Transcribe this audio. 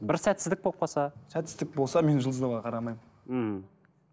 бір сәтсіздік болып қалса сәтсіздік болса мен жұлдызнамаға қарамаймын мхм